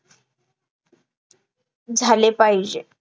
झाले पाहिजे